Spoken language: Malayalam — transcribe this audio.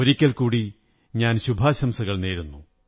ഒരിക്കൽ കൂടി ഞാൻ ശുഭാശംസകൾ നേരുന്നു